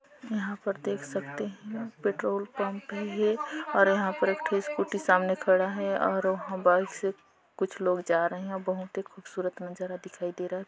यहाँ पर देख सकते है पेट्रोल पंप है ये और यहाँ पर एक ठो स्कूटी सामने खड़ा है और वह बस कुछ लोग जा रहे है और बहुत ही खूबसूरत नज़ारा दिखाई दे रहा है।